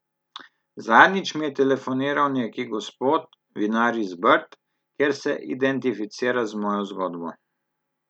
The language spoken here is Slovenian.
Zadnjič mi je telefoniral neki gospod, vinar iz Brd, ker se identificira z mojo zgodbo.